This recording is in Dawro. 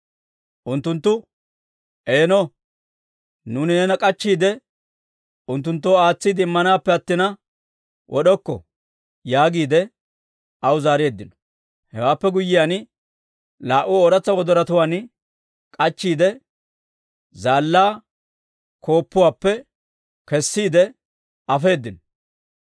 Unttunttu, «Eeno, nuuni neena k'achchiide, unttunttoo aatsiide immanaappe attina, wod'okko» yaagiide aw zaareeddino. Hewaappe guyyiyaan, laa"u ooratsa wodoruwaan k'achchiide, zaallaa gonggoluwaappe kessiide afeedino.